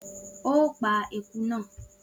O pa èkúté na